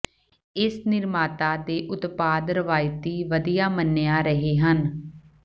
ਇਸ ਨਿਰਮਾਤਾ ਦੇ ਉਤਪਾਦ ਰਵਾਇਤੀ ਵਧੀਆ ਮੰਨਿਆ ਰਹੇ ਹਨ